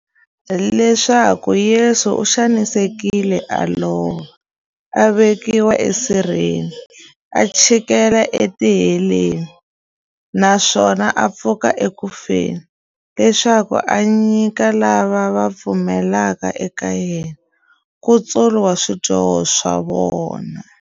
Leswaku Yesu u xanisekile, a lova, a vekiwa esirheni, a chikela etiheleni, naswona a pfuka eku feni, leswaku a nyika lava va pfumelaka eka yena, nkutsulo wa swidyoho swa vona.